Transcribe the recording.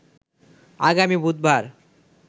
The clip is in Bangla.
আগামী বুধবার